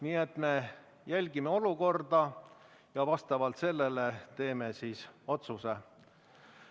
Nii et me jälgime olukorda ja selle põhjal teeme otsuse.